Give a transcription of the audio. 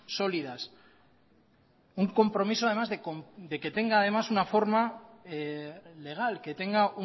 sólidas un compromiso además de que tenga además una forma legal que tenga